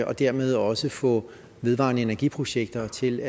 og dermed også få vedvarende energiprojekter til